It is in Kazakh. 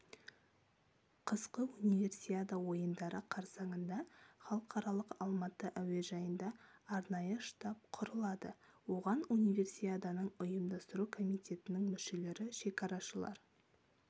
қысқы универсиада ойындары қарсаңында халықаралық алматы әуежайында арнайы штаб құрылады оған универсиаданың ұйымдастыру комитетінің мүшелері шекарашылар